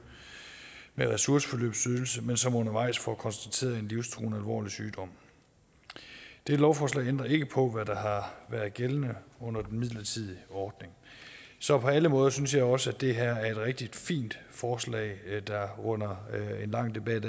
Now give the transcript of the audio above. med ressourceforløbsydelse men som undervejs får konstateret en livstruende alvorlig sygdom dette lovforslag ændrer ikke på hvad der har været gældende under den midlertidige ordning så på alle måder synes jeg også at det her er et rigtig fint forslag der her runder en lang debat